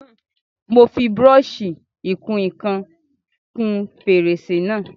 Mo fi búrọ́ṣì ìkun ìkan kún fèrèsé náà.